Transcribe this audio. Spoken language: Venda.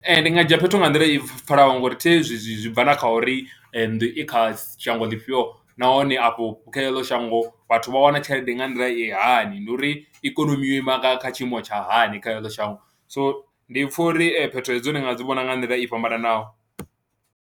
Ee, ndi nga dzhia phetho nga nḓila i pfhalaho ngori thi zwi zwi bva na kha uri nnḓu i kha shango ḽifhio nahone afho kha eḽo shango vhathu vha wana tshelede nga nḓila i hani, ndi uri ikonomi yo ima nga kha tshiimo tsha hani kha heḽo shango, so ndi pfha uri phetho hedzo ndi nga dzi vhona nga nḓila i fhambananaho.